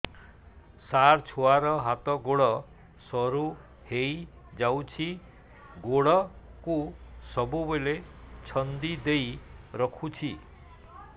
ସାର ଛୁଆର ହାତ ଗୋଡ ସରୁ ହେଇ ଯାଉଛି ଗୋଡ କୁ ସବୁବେଳେ ଛନ୍ଦିଦେଇ ରଖୁଛି